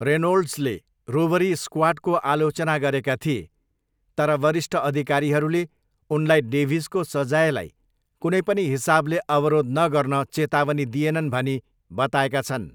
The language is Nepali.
रेनोल्ड्सले रोबरी स्क्वाडको आलोचना गरेका थिए, तर वरिष्ठ अधिकारीहरूले उनलाई डेभिसको सजायलाई कुनै पनि हिसाबले अवरोध नगर्न चेतावनी दिएनन् भनी बताएका छन्।